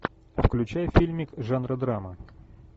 включай фильмик жанра драма